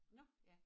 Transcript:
Nå ja